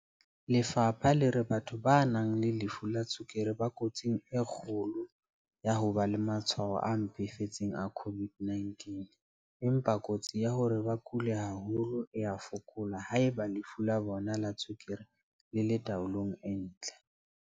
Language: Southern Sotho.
Lefapha le re batho ba nang le lefu la tswekere ba kotsing e kgolo ya ho ba le matshwao a mpefetseng a COVID-19, empa kotsi ya hore ba kule haholo e a fokola haeba lefu la bona la tswekere le le tao-long e ntle.